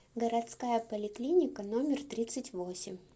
городская поликлиника номер тридцать восемь